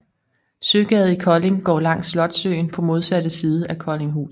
Søgade i Kolding går langs Slotssøen på modsatte side af Koldinghus